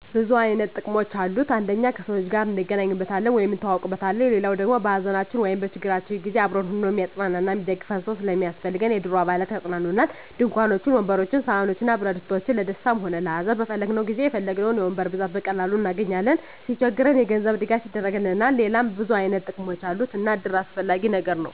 ብዙ አይነት ጥቅሞች አሉት አንደኛ ከሰዎች ጋር እንገናኝበታለን ወይም እንተዋወቅበታለን። ሌላዉ ደሞ በሀዘናችን ወይም በችግራችን ጊዜ አብሮን ሁኖ እሚያፅናናን እና እሚደግፈን ሰዉ ስለሚያስፈልገን የእድሩ አባላት ያፅናኑናል፣ ድንኳኖችን፣ ወንበሮችን፣ ሰሀኖችን እና ብረትድስቶችን ለደስታም ሆነ ለሀዘን በፈለግነዉ ጊዜ የፈለግነዉን የወንበር ብዛት በቀላሉ እናገኛለን። ሲቸግረን የገንዘብ ድጋፍ ያደርግልናል ሌላም ብዙ አይነት ጥቅሞች አሉ እና እድር አስፈላጊ ነገር ነዉ።